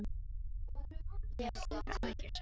Ég hef engar áhyggjur, sagði Finnur.